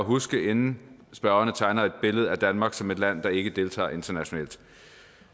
huske inden spørgerne tegner et billede af danmark som et land der ikke deltager internationalt